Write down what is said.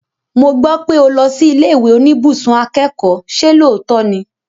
Mo gbọ́ pé o lọ sí ilé ìwé oníbùsùn akẹ́kọ̀ọ́, ṣe lóòótọ́ ni?